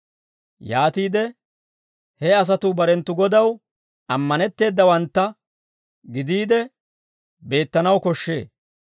Yaatiide he asatuu barenttu Godaw ammanetteedawantta gidiide, beettanaw koshshee.